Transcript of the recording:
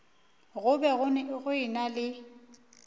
go be go ena le